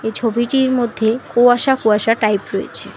এই ছবিটির মধ্যে কুয়াশা কুয়াশা টাইপ রয়েছে।